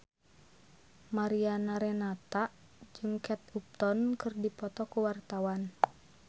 Mariana Renata jeung Kate Upton keur dipoto ku wartawan